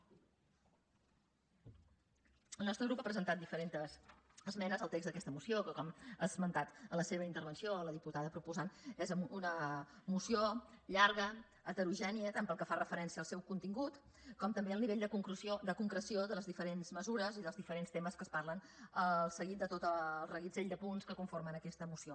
el nostre grup ha presentat diferents esmenes al text d’aquesta moció que com ha esmentat en la seva intervenció la diputada proposant és una moció llarga heterogènia tant pel que fa referència al seu contingut com també al nivell de concreció de les diferents mesures i dels diferents temes que es parlen al seguit de tot el reguitzell de punts que conformen aquesta moció